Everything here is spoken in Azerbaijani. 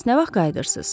Bəs nə vaxt qayıdırsız?